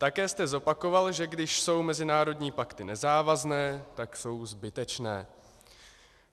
Také jste zopakoval, že když jsou mezinárodní pakty nezávazné, tak jsou zbytečné.